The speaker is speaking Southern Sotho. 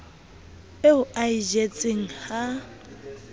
eo a e jetseng ha